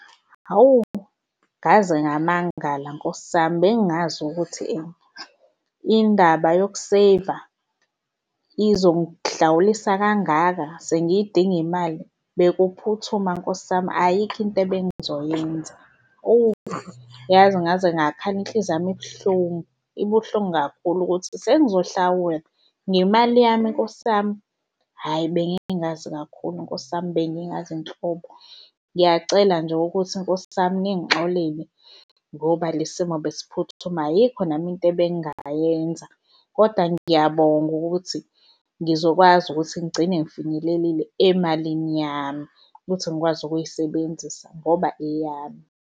Hawu, ngaze ngamangala nkosi yami bengazi ukuthi indaba yokuseyiva izonghlawulisa kangaka, sengiyidinga imali. Bekuphuthuma nkosi yami ayikho into ebengizoyenza. Howu yazi ngaze ngakhala inhliziyo yami ibuhlungu, ibuhlungu kakhulu ukuthi sengizohlawula ngemali yami nkosi yami, hhayi bengingazi kakhulu, nkosi yami, bengingazi nhlobo. Ngiyacela nje ukuthi nkosi yami ningixolele ngoba lesi simo besiphuthuma, ayikho nami into ebengingayenza, kodwa ngiyabonga ukuthi ngizokwazi ukuthi ngigcine ngifinyelelile emalini yami ukuthi ngikwazi ukuyisebenzisa ngoba eyami.